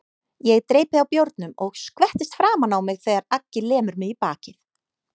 Ég dreypi á bjórnum og skvettist framan á mig þegar Aggi lemur mig í bakið.